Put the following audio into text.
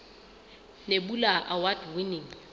nebula award winning